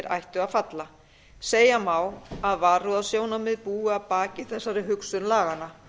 ættu að falla segja má að varúðarsjónarmið búi að baki þessari hugsun laganna